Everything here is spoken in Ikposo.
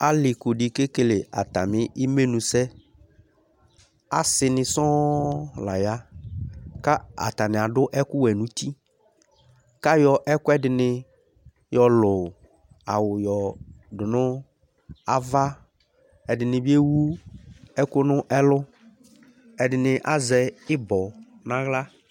Alikŭ di ke ekele atami imenu sɛ, asini sɔ̃ la ya, k'atani adu ɛku wɛ n'uti, k'ayɔ ɛkuɛdini yɔlù awu yɔ du n'ava, ɛdini bi ewu ɛku nu ɛlu, ɛdini azɛ ibɔ̃ n'aɣla